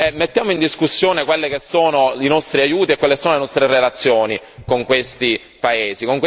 Mettiamo in discussione quelli che sono i nostri aiuti e quelle che sono le nostre relazioni con questi paesi.